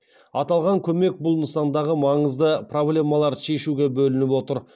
аталған көмек бұл нысандағы маңызды проблемаларды шешуге бөлініп отыр